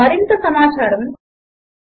మరింత సమాచారము httpspoken tutorialorgNMEICT Intro